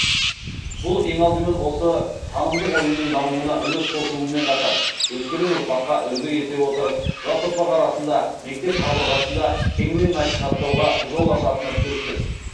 бұл ең алдымен осы танымдық ойынның дамуына үлес қосуымен қатар өскелең ұрпаққа үлгі ете отырып жас ұрпақ арасында мектеп қабырғасында кеңінен насихаттауға жол ашатыны сөзсіз